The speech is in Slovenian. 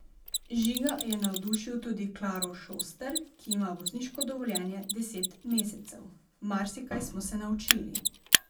Žiga je navdušil tudi Klaro Šoster, ki ima vozniško dovoljenje deset mesecev: "Marsikaj smo se naučili.